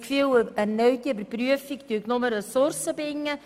Eine neue Überprüfung würde nur Ressourcen binden.